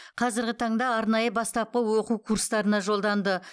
қазіргі таңда арнайы бастапқы оқу курстарына жолданды